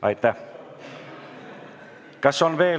Aitäh!